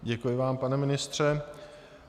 Děkuji vám, pane ministře.